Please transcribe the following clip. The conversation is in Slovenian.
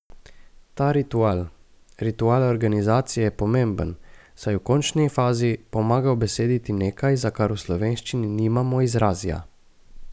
Ta ritual, ritual organizacije, je pomemben, saj v končni fazi pomaga ubesediti nekaj, za kar v slovenščini nimamo izrazja.